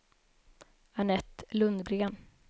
Anette Lundgren